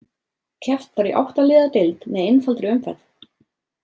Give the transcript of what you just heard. Keppt var í átta liða deild með einfaldri umferð.